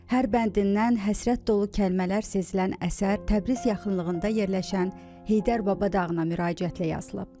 Hər bəndindən həsrət dolu kəlmələr sezilən əsər Təbriz yaxınlığında yerləşən Heydər Baba dağına müraciətlə yazılıb.